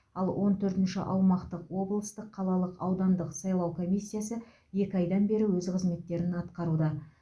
ал он төртінші аумақтық облыстық қалалық аудандық сайлау комиссиясы екі айдан бері өз қызметтерін атқаруда